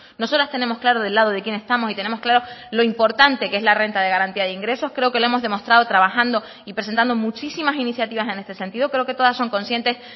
nosotras tenemos claro del lado de quién estamos y tenemos claro lo importante que es la renta de garantía de ingresos creo que lo hemos demostrado trabajando y presentando muchísimas iniciativas en este sentido creo que todas son conscientes